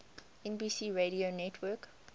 nbc radio network